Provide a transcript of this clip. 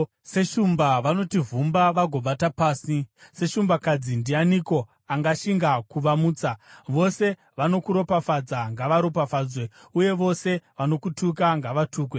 Seshumba vanoti vhumba vagovata pasi, seshumbakadzi, ndianiko angashinga kuvamutsa? “Vose vanokuropafadza, ngavaropafadzwe uye vose vanokutuka, ngavatukwe!”